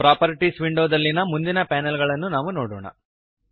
properties ವಿಂಡೋದಲ್ಲಿಯ ಮುಂದಿನ panel ಗಳನ್ನು ನಾವು ನೋಡೋಣ